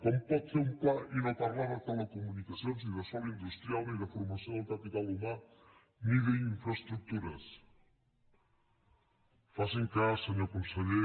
com pot fer un pla i no parlar de telecomunicacions ni de sòl industrial ni de formació del capital humà ni d’infraestructures faci’m cas senyor conseller